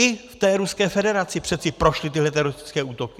I v té Ruské federaci přece prošly tyhle teroristické útoky.